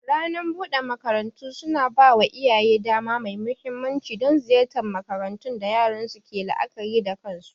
Ranar bude makarantu suna ba wa iyaye dama mai mahimmanci don ziyartar makarantun da yaran su ke la'akari da kansu.